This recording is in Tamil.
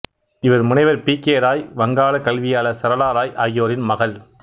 இவர் முனைவர் பி கே ராய் வங்காளக் கல்வியாளர் சரளா ராய் ஆகியோரின் மகள்